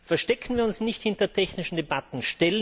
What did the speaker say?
Verstecken wir uns nicht hinter technischen Debatten!